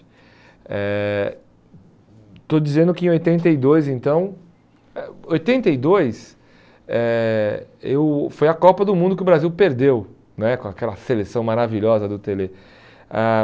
Eh estou dizendo que em oitenta e dois, então, eh oitenta e dois eh eu foi a Copa do Mundo que o Brasil perdeu né, com aquela seleção maravilhosa do Tele. Ãh